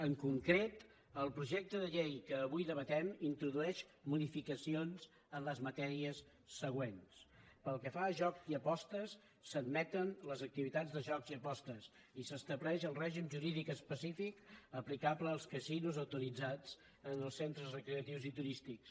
en concret el projecte de llei que avui debatem introdueix modificacions en les matèries següents pel que fa a jocs i apostes s’admeten les activitats de jocs i apostes i s’estableix el règim jurídic específic aplicable als casinos autoritzats en els centres recreatius i turístics